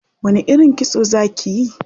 Wani irin kitso za kiyi?